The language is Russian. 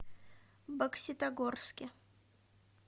бокситогорске